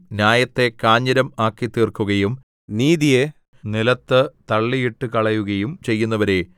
ന്യായത്തെ കാഞ്ഞിരം ആക്കിത്തീർക്കുകയും നീതിയെ നിലത്ത് തള്ളിയിട്ടുകളയുകയും ചെയ്യുന്നവരേ